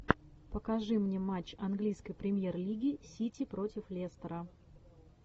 покажи мне матч английской премьер лиги сити против лестера